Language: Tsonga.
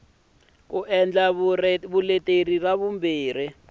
ku endla vuleteri ra vumbirhi